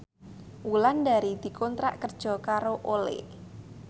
Wulandari dikontrak kerja karo Olay